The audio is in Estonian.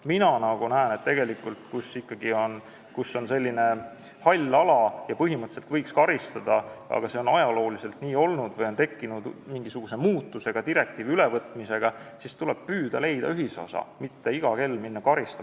Mina näen, et kui on selline hall ala ja põhimõtteliselt võiks karistada, aga ajalooliselt on see asi nii olnud või on direktiivi ülevõtmisega tekkinud mingisuguse muutus, siis tuleb püüda leida ühisosa, mitte iga kell karistama minna.